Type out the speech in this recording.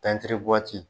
Tɛntɛn